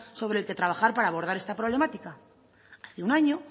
sobre el que trabajar para abordar esta problemática hace un año